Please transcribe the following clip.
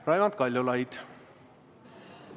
Raimond Kaljulaid, palun!